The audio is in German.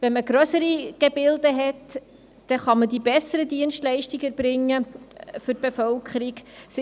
Wenn man grössere Gebilde hat, kann man die besseren Dienstleistungen für die Bevölkerung erbringen.